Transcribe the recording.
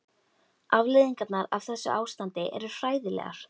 Afleiðingarnar af þessu ástandi eru hræðilegar.